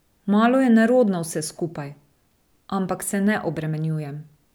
Malo je nerodno vse skupaj, ampak se ne obremenjujem.